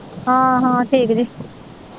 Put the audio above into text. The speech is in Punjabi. ਹਾਂ ਹਾਂ ਠੀਕ ਜੀ